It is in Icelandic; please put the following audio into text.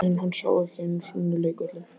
En hann sá ekki einu sinni leikvöllinn.